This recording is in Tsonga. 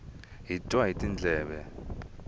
hi twa hi tindleve